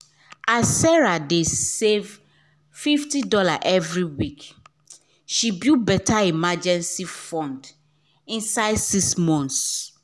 as sarah dey save fifty dollarsevery week she build better emergency fund inside six months